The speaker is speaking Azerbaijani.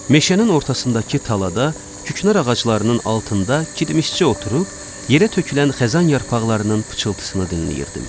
Meşənin ortasındakı talada küknar ağaclarının altında kirmişçi oturub, yerə tökülən xəzan yarpaqlarının pıçıltısını dinləyirdim.